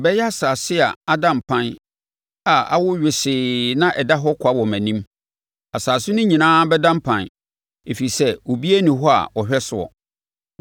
Ɛbɛyɛ asase a ada mpan a awo wesee na ɛda hɔ kwa wɔ mʼanim; asase no nyinaa bɛda mpan ɛfiri sɛ obiara nni hɔ a ɔhwɛ soɔ.